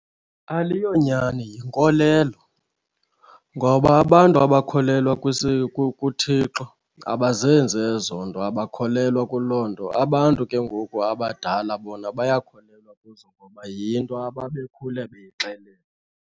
Aliyonyani yinkolelo, ngoba abantu abakholelwa kuThixo abazenzi ezo nto abakholelwa kuloo nto. Abantu ke ngoku abadala bona bayakholelwa kuzo ngoba yiyo into ababekhule beyixelelwa.